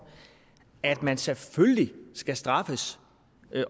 at man selvfølgelig skal straffes